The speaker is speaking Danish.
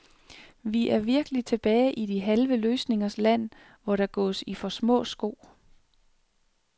Vi er virkelig tilbage i de halve løsningers land, hvor der gås i for små sko.